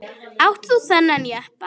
Átt þú þennan jeppa?